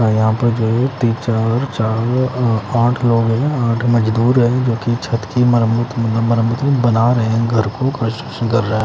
और यहाँ पर जो तीन- चार चार आठ लोग हैं आठ मजदूर हैं जो कि छत की मरम्मत म मरम्मत नहीं बना रहे हैं घर को रहे हैं --